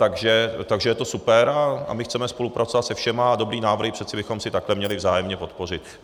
Takže je to super a my chceme spolupracovat se všemi a dobré návrhy přece bychom si takhle měli vzájemně podpořit.